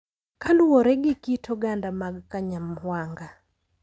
Kaluwore gi kit oganda mag Kanyawanga,